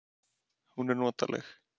Hún er notaleg.